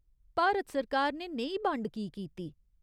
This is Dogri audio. भारत सरकार ने नेही बंड की कीती ?